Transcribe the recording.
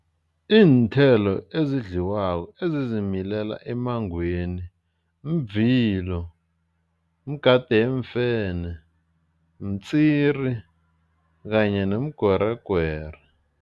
Iinthelo ezidliwako ezizimilela emmangweni mvilo, mgade weemfene, mtswiri kanye nomgweregwere.